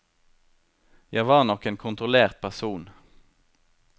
Jeg var nok en kontrollert person.